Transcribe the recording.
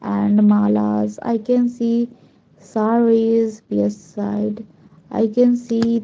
And malas i can see sarees left side i can see --